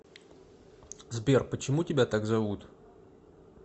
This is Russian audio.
сбер почему тебя так зовут